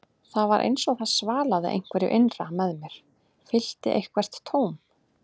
Það var eins og það svalaði einhverju innra með mér, fyllti eitthvert tóm.